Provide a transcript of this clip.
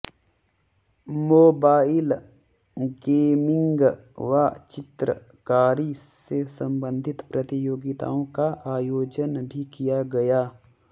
mobile gaming व चित्रकारी से संबंधित प्रतियोगिताओं का आयोजन भी किया गया